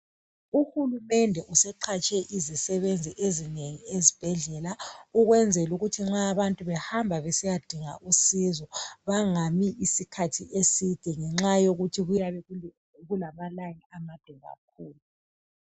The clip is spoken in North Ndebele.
UHulumende useqhatshe izisebenzi ezinengi ezibhedlela ukwenzela ukuthi nxa abantu behamba besiyadinga usizo bangami isikhathi eside ngenxa yokuthi kuyabe kulamalayini amade kakhulu.